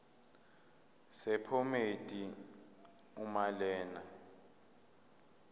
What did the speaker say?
sephomedi uma lena